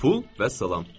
Pul vəssalam.